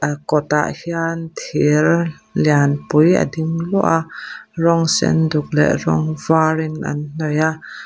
kawt ah hian thir lianpui a ding luah a rawng sen duk leh rawng var in an hnawih a.